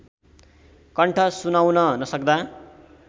कण्ठ सुनाउन नसक्दा